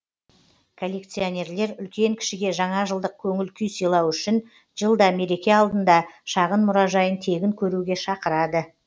коллекционерлер үлкен кішіге жаңажылдық көңіл күй сыйлау үшін жылда мереке алдында шағын мұражайын тегін көруге шақырады